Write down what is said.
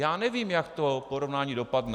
Já nevím, jak to porovnání dopadne.